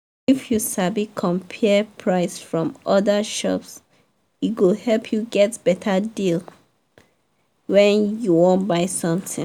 if you sabi compare price from other shops e go help you get better deal when you wan buy something.